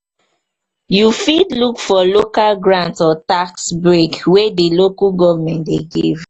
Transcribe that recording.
you fit look for local grant or tax break wey di local government dey give